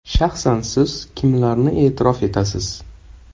Shaxsan siz kimlarni e’tirof etasiz?